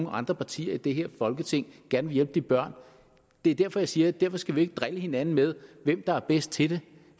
andre partier i det her folketing gerne vil hjælpe de børn det er derfor jeg siger at derfor skal vi ikke drille hinanden med hvem der er bedst til det